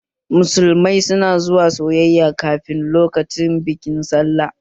Musulmai su na zuwa sayayya kafin lokacin bikin sallah